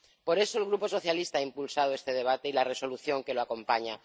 Por eso, el Grupo socialista ha impulsado este debate y la Resolución que lo acompaña.